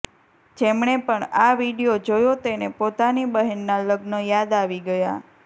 જેમણે પણ આ વિડીયો જોયો તેને પોતાની બહેનના લગ્ન યાદ આવી ગયા